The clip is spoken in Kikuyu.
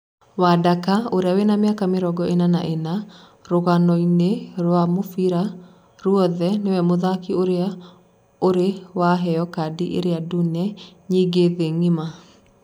Wadaka ũrĩa wĩna mĩaka mĩrongo ĩna na ĩna, Rũgano-inĩ rwa mũbira ruothe nĩwe mũthaki ũrĩa ũrĩ waheo kadi iria dũne nyĩngĩ thĩĩ ngĩma.